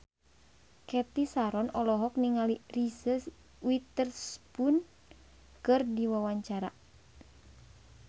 Cathy Sharon olohok ningali Reese Witherspoon keur diwawancara